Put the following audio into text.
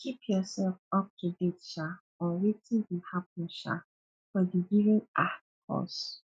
keep yourself up to date um on wetin dey happen um for di given um cause